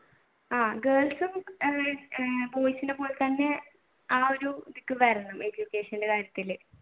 ആഹ് girls ഉം boys നെ പോലെത്തന്നെ ആ ഒരു education ന്റെ കാര്യത്തിൽ